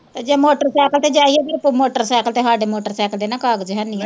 ਜੇ motorcycle ਤੇ ਜਾਈਏ ਕਿਤੇ ਮੋਟਰ ਸਾਇਕਲ ਤੇ ਸਾਡੇ ਮੋਟਰਸਾਇਕਲ ਦੇ ਨਾ ਕਾਗ਼ਜ ਹੈਨੀ ਹੈ।